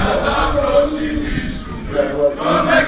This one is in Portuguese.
Namorava no baile, na ruazinha, né?